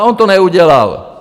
A on to neudělal.